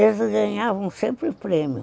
Eles ganhavam sempre prêmios.